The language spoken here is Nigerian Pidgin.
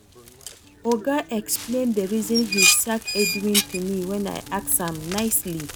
Oga explain the reason he sack Edwin to me wen I ask am nicely